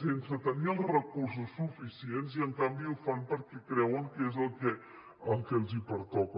sense tenir els recursos suficients i en canvi ho fan perquè creuen que és el que els pertoca